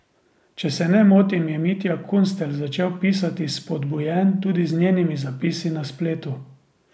Če se ne motim, je Mitja Kunstelj začel pisati spodbujen tudi z njenimi zapisi na spletu.